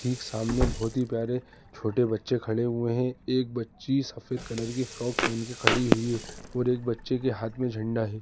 ठीक सामने बहुत ही प्यारे छोटे बच्चे खड़े हुए हैं एक बच्ची सफेद कलर की फ्रॉक पहन के खड़ी हुई है और एक बच्चे के हाथ में झंडा है।